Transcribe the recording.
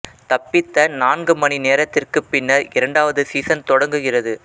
தப்பித்த நான்கு மணி நேரத்திற்குப் பின்னர் இரண்டாவது சீசன் தொடங்குகிறது